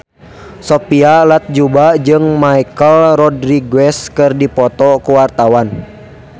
Sophia Latjuba jeung Michelle Rodriguez keur dipoto ku wartawan